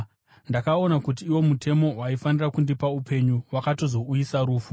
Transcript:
Ndakaona kuti iwo mutemo waifanira kundipa upenyu, wakatozouyisa rufu.